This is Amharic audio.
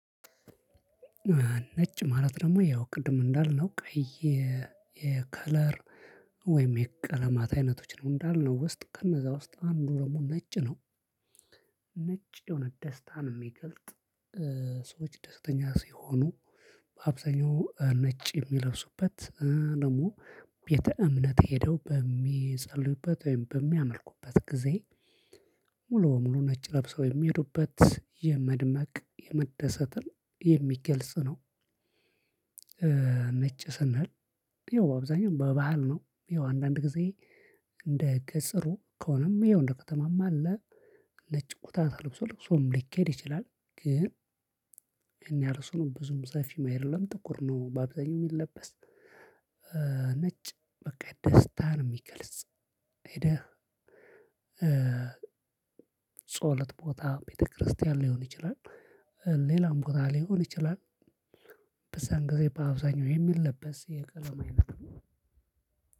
ነጭ ማለት ደግሞ ያው ቅድም እንዳልነው፣ ቀይ የከለር ወይም የቀለማት አይነቶች ነው፤ እንዳልነው ውስጥ ከነዛ ውስጥ አንዱ ደግሞ ነጭ ነው። ነጭ ደሞ ደስታን የሚገልጥ፣ ሰዎች ደስተኛ ሲሆኑ በአብዛኛው ነጭ የሚለብሱበት፣ ደግሞ ቤተ ዕምነት ሄደው በሚፀልዩበት ወይም በሚያመልኩበት ጊዜ፣ ሙሉ በሙሉ ነጭ ለብሰው የሚሄዱበት የመድመቅ የመደሰት የሚገልጽ ነው። ነጭ ስንል ይኸው በአብዛኛው በባህል ነው። ያው አንዳንድ ጊዜ እንደ ቀጠሮ ከሆነም ይኸው እንደ ከተማም አለ። ነጭ ኮታ ተለብሶ ለብሶም ሊኬድ ይችላል፤ ግን ያን ያህል እሱም ብዙም ሰፊም አይደለም ጥቁር ነው በአብዛኛው የሚለበስ። ነጭ በቃ ደስታን የሚገልጽ፣ ሄደህ ጸሎት ቦታ ቤተክርስቲያን ሊሆን ይችላል። ሌላም ቦታ ሊሆን ይችላል። በዛም ጊዜ በአብዛኛው የሚለበስ የቀለም አይነት ነው።